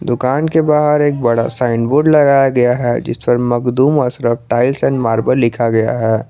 दुकान के बाहर एक बड़ा साइन बोर्ड लगाया है जिसपर Makhdoom Ashraf tiles and marble लिखा गया है।